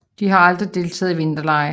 De har aldrig deltaget i vinterlege